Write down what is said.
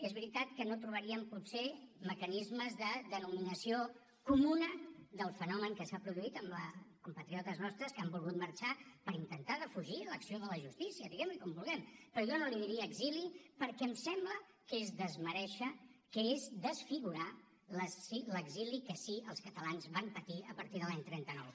és veritat que no trobaríem potser mecanismes de denominació comuna del fenomen que s’ha produït amb compatriotes nostres que han volgut marxar per intentar defugir l’acció de la justícia diguem ne com vulguem però jo no en diria exili perquè em sembla que és desmerèixer que és desfigurar l’exili que sí els catalans van patir a partir de l’any trenta nou